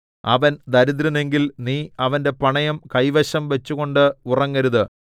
അവൻ ദരിദ്രനെങ്കിൽ നീ അവന്റെ പണയം കൈവശം വച്ചുകൊണ്ട് ഉറങ്ങരുത്